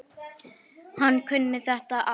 Hann kunni á þetta allt.